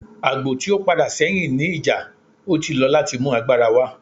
Agbo ti o pada sẹhin ni ija, o ti lọ lati mu agbara wa.